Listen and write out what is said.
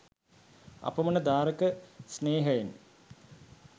අපමණ දාරක ස්නේහයෙනි.